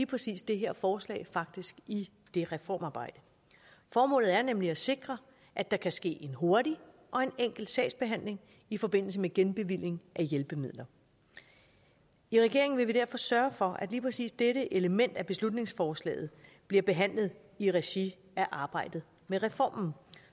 præcis det her forslag faktisk i det reformarbejde formålet er nemlig at sikre at der kan ske en hurtig og en enkel sagsbehandling i forbindelse med genbevilling af hjælpemidler i regeringen vil vi derfor sørge for at lige præcis dette element af beslutningsforslaget bliver behandlet i regi af arbejdet med reformen